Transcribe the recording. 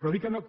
però dic que no